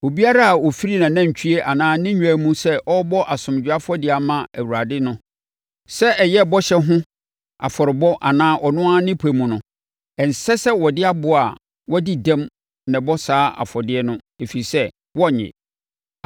Obiara a ɔfiri nʼanantwie anaa ne nnwan mu sɛ ɔrebɔ asomdwoeɛ afɔdeɛ ama Awurade no, sɛ ɛyɛ bɔhyɛ bi ho afɔrebɔ anaa ɔno ara ne pɛ mu no, ɛnsɛ sɛ ɔde aboa a wadi dɛm na ɛbɔ saa afɔdeɛ no, ɛfiri sɛ, wɔrennye.